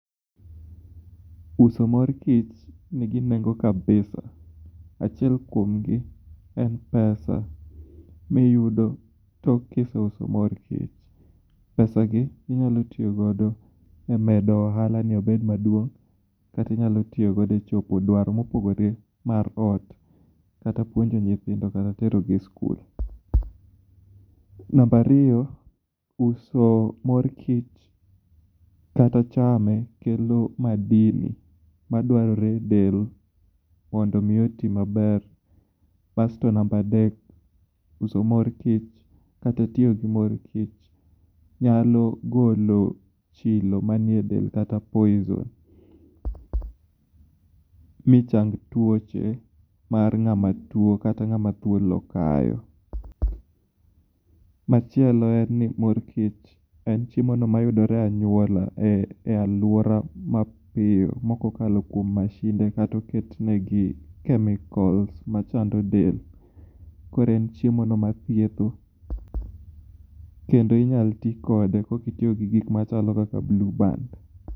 Uso mor kich nigi nengo kabisa achiel kuom gi en pesa mi yudo tok ka iseuso mor kich pesa gi inyalo tiyo godo e medo ohala ni obed maduong kata inyalo tiyo go e chopo dwaro ma opogore mar ot kata puonjo nyithindo kata tero gi school number ariyo uso mor kich kata chame kelo madini ma dwarore e del mondo mi oti maber kasto number adek uso mor kich kata tiyo gi mor kich nyalo golo chilo ma ni e del kata poison mi chang tuoche mar ngama tuo kata ngama thuol okayo machielo en ni mor kich en chiemo ma yudore e anyuola e aluora ma yudore ma piyo ma okokalo kuom masinde kata oketnegi chemicals ma chando del koro en chiemo no ma thietho kendo inyalo ti kode ka oki tiyo kod gik ma chalo kaka blue band